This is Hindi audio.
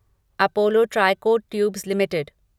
Apollo Tricoat tubes limited